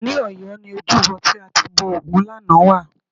Ní Ọ̀yọ́ ni ojúbọ tí a ti bọ ògún lánàá wà